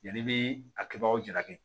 Yanni i bɛ a kɛbagaw jalaki